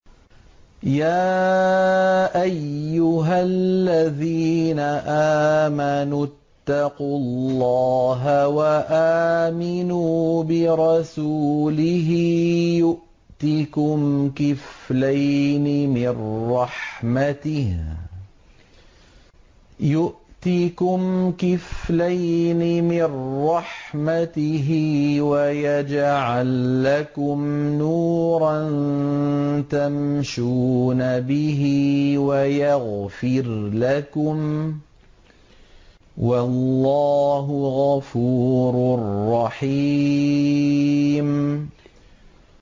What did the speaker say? يَا أَيُّهَا الَّذِينَ آمَنُوا اتَّقُوا اللَّهَ وَآمِنُوا بِرَسُولِهِ يُؤْتِكُمْ كِفْلَيْنِ مِن رَّحْمَتِهِ وَيَجْعَل لَّكُمْ نُورًا تَمْشُونَ بِهِ وَيَغْفِرْ لَكُمْ ۚ وَاللَّهُ غَفُورٌ رَّحِيمٌ